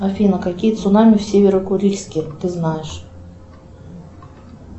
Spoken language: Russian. афина какие цунами в северо курильске ты знаешь